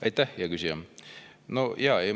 Aitäh, hea küsija!